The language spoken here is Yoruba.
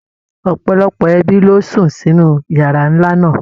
Ọ̀pọ̀lọpọ̀ ẹbí ló sùn sínú yàrá ńlá náà.